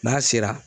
N'a sera